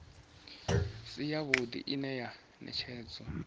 si yavhuḓi ine ya ṅetshedzwa